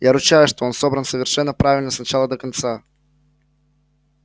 я ручаюсь что он собран совершенно правильно с начала до конца